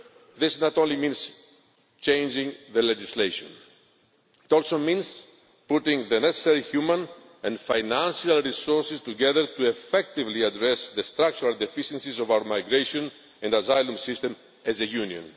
This not only means changing legislation, it also means putting the necessary human and financial resources together to effectively address the structural deficiencies of our migration and asylum system as a